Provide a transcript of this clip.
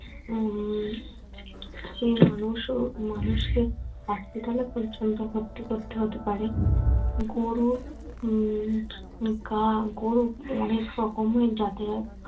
উম মানুষকে hospital এ পর্যন্ত ভর্তি করতে হতে পারে। গরু উহ গা গরু অনেক রকমের জাতের হয়